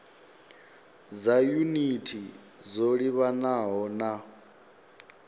dza yunithi dzo livhanaho na